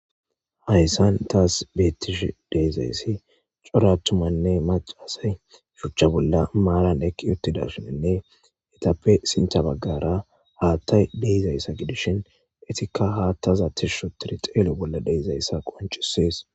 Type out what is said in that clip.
Hayssan taas beettish deizayssi coratumanne macasay shuchcha bolla maalan ekki yottida shininne itappe sintabaggara haattay deyzayssa gidishin etikka haattaza tishsho tiri xeelu bolla deezayssa qoncisees.